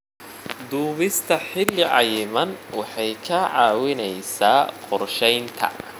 Duubista xilli cayiman waxay ka caawisaa qorsheynta.